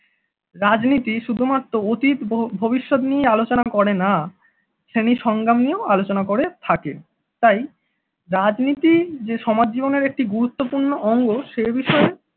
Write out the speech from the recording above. রাজনীতি শুধুমাত্র অতীত ভ~ ভবিষ্যৎ নিয়ে আলোচনা করে না শ্রেণী সংগ্রাম নিয়েও আলোচনা করে থাকে, তাই রাজনীতি যে সমাজ জীবনের একটি গুরুত্বপূর্ণ অঙ্গ সে বিষয়ে